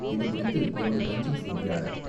இதுகுறித்து எமது தஞ்சை செய்தியாளர்.